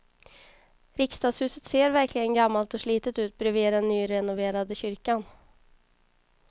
Riksdagshuset ser verkligen gammalt och slitet ut bredvid den nyrenoverade kyrkan.